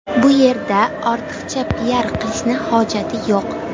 Bu yerda ortiqcha piar qilishni hojati yo‘q.